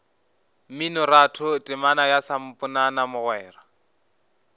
mminoratho temana ya samponana mogwera